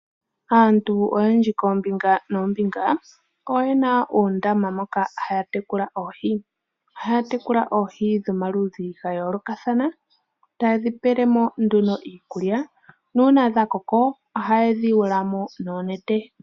Aantu oyendji koombinga noombinga, oyena oondama moka haya tekula oohii. Ohaya tekula oohi dhomaludhi ga yoolokathana taye dhi pelemo nduno iikulya nuuna dha koko, oha ye dhi yawulamo noonete.